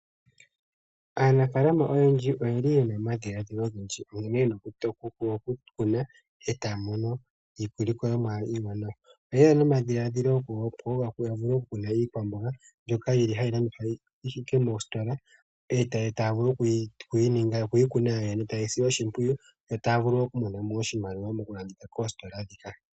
Aanafaalama oyendji oyeli yena omadhiladhilo ogendji nkene yena oku kuna ee taya mono iilikolomwa iiwanawa. Oyeya nomadhiladhilo go kukuna iikwamboga mbyoka yili hayi landithwa moositola, ee taya vulu okuyi kuna yoyene, ee tayeyi sile oshimpwiyu, yo taya vulu woo okumona mo oshimaliwa mokulanditha koositola ndhika.